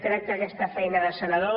crec que aquesta feina de senador